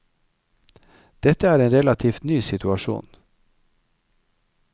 Dette er en relativt ny situasjon.